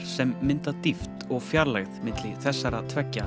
sem mynda dýpt og fjarlægð milli þessara tveggja